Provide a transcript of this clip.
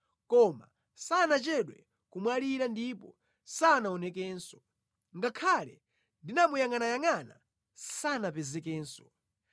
Koma sanachedwe kumwalira ndipo sanaonekenso; ngakhale ndinamuyangʼanayangʼana, sanapezekenso.